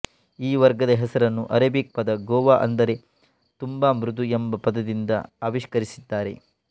ಈ ವರ್ಗದ ಹೆಸರನ್ನು ಆರೇಬಿಕ್ ಪದ ಗೋವಾ ಅಂದರೆ ತುಂಬಾ ಮೃದು ಎಂಬ ಪದದಿಂದ ಆವಿಷ್ಕರಿಸಿದ್ದಾರೆ